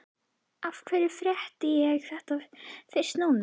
Af hverju frétti ég þetta fyrst núna?